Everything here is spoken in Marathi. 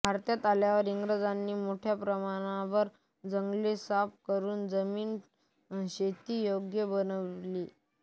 भारतात आल्यावर इंग्रजांनी मोठ्या प्रमाणावर जंगले साफ करून जमीन शेतीयोग्य बनविली